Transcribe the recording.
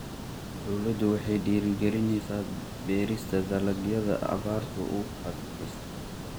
Dawladdu waxay dhiirigelinaysaa beerista dalagyada abaarta u adkaysta.